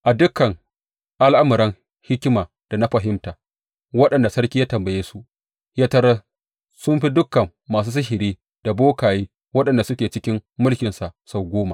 A dukan al’amuran hikima da na fahimta wanda sarki ya tambaye su, ya tarar sun fi dukan masu sihiri da bokaye waɗanda suke cikin mulkinsa sau goma.